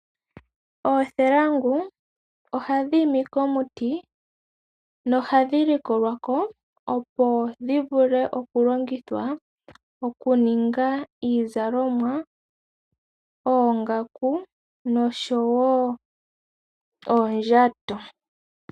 Oothelangu ohadhi imi komuti nohadhi likolwa ko, opo dhi vule okulongithwa okuninga iizalomwa, oongaku noshowo uundjato.